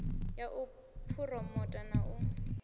ya u phuromotha na u